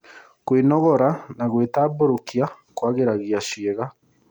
Kwĩnogora na gwĩtambũrukia kũagĩragia ciĩga